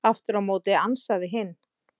Aftur á móti ansaði hinn: